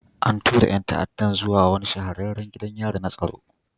An tura ɗan ta'addan zuwa wani shahararren gidan yari na tsaro